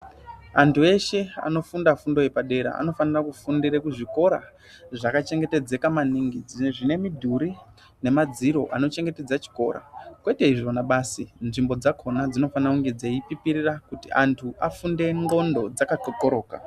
Antu eshe anofunda fundo yepadera anofanire kufundira kuzvikora zvakachengetedzeka maningi ,zvine midhuri nemadziro anochengetedza chikora kwete izvona basi nzvimbo dzakona dzinofana kunge dzeipipirira kuti antu afunde ndxondo dzakaxoxoroka .